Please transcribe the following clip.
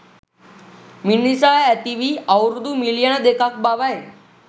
මිනිසා ඇතිවී අවුරුදු මිලියන දෙකක් බවයි